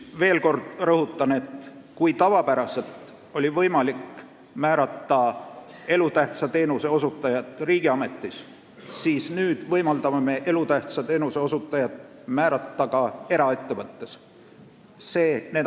Veel kord rõhutan, et kui tavapäraselt oli võimalik määrata elutähtsa teenuse osutajat riigiametis, siis nüüd võimaldame me elutähtsa teenuse osutajat määrata ka eraettevõttes.